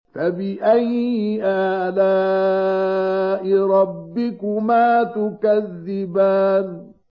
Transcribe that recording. فَبِأَيِّ آلَاءِ رَبِّكُمَا تُكَذِّبَانِ